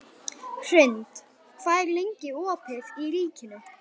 Hrund, hvað er lengi opið í Ríkinu?